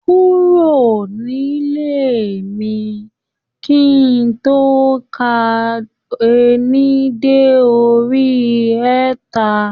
Kúrò nílé mi ki n tó ka ení dé orí ẹẹ́ta